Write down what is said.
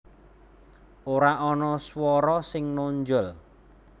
Ora ana swara sing nonjol